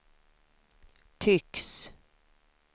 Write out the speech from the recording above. tycks